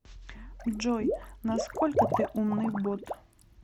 джой насколько ты умный бот